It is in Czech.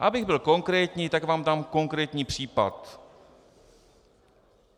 Abych byl konkrétní, tak vám dám konkrétní případ.